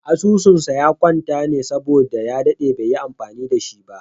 Asususn sa ya kwanta saboda ya daɗe baiyi amfani da shi ba